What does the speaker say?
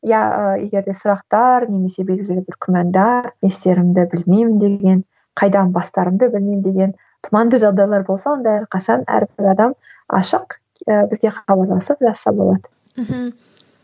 иә ыыы егер де сұрақтар немесе белгілі бір күмәндер не істерімді білмеймін деген қайдан бастарымды білмеймін деген тұманды жағдайлар болса онда әрқашан әрбір адам ашық ы бізге хабарласып жазса болады мхм